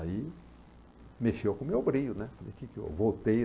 Aí, mexeu com o meu brilho, né? Falei, o que que eu, voltei